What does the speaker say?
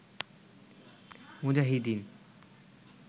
মুজাহিদীন